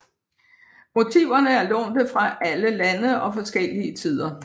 Motiverne er lånte fra alle lande og forskellige tider